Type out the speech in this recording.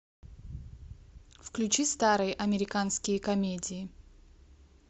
включи старые американские комедии